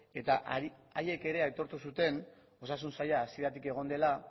eta haiek ere aitortu zuen osasun saila hasieratik egon dela